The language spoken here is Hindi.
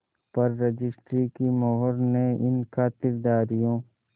पर रजिस्ट्री की मोहर ने इन खातिरदारियों